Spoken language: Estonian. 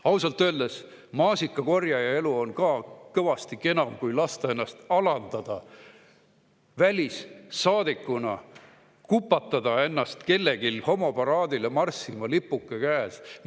Ausalt öeldes on maasikakorjaja elu ka kõvasti kenam kui lasta ennast alandada välissaadikuna, kupatada ennast kellelgi homoparaadile marssima, lipuke käes.